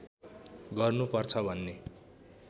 गर्नुपर्छ भन्ने